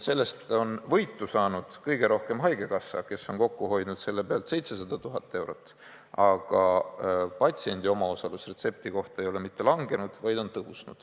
Sellest on võitu saanud kõige rohkem haigekassa, kes on kokku hoidnud selle pealt 700 000 eurot, aga patsiendi omaosalus retsepti kohta ei ole mitte langenud, vaid on tõusnud.